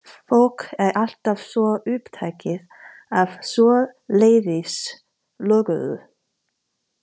Fólk er alltaf svo upptekið af svoleiðis löguðu.